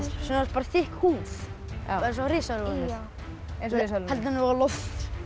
bara þykk húð eins og risar voru með heldur þeim á lofti